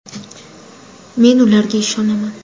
Men ularga ishonaman”.